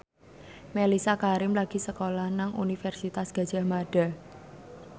Mellisa Karim lagi sekolah nang Universitas Gadjah Mada